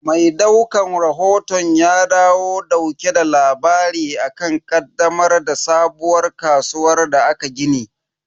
Mai daukan rahoton ya dawo dauke da labari akan ƙaddamar da sabuwar kasuwar da aka gini.